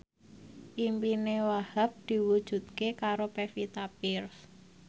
impine Wahhab diwujudke karo Pevita Pearce